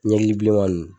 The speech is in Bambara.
Ɲɛji bilenman ninnu